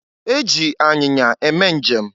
E ji anyinya eme njem.